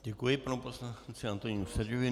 Děkuji panu poslanci Antonínu Seďovi.